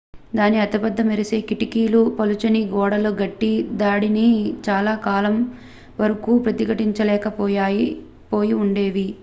దాని పెద్ద మెరిసే కిటికీలు పలుచని గోడలు గట్టి దాడిని చాలా కాలం వరకు ప్రతిఘటించలేక పోయి ఉండేవి